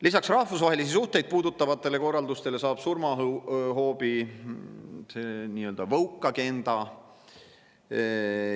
Lisaks rahvusvahelisi suhteid puudutavatele korraldustele saab surmahoobi see nii-öelda woke‑agenda.